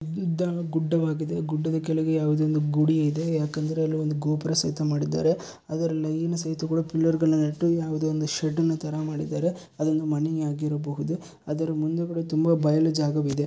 ಇದೊಂದು ಗುಡ್ಡವಾಗಿದೆ ಗುಡ್ಡದ ಕೆಳಗಡೆ ಯಾವುದೋ ಒಂದು ಗುಡಿಯಿದೆ ಯಾಕಂದರೆ ಅಲ್ಲಿ ಒಂದು ಗೋಪುರ ಸಹಿತ ಮಾಡಿದ್ದಾರೆ ಅದರ ಲೈನು ಸಹಿತಗಳು ಪಿಲ್ಲರ್ ಗಳು ನೆಟ್ಟು ಯಾವುದೋ ಒಂದು ಶೆಡ್ಡು ನತರ ಮಾಡಿದ್ದಾರೆ ಅದೊಂದು ಮನೆ ಆಗಿರಬಹುದು ಅದರ ಮುಂದುಗಡೆ ತುಂಬಾ ಬಯಲು ಜಾಗವಿದೆ.